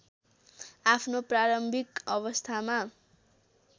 आफ्नो प्रारम्भिक अवस्थामा